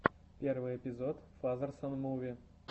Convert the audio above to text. первый эпизод фазерсон муви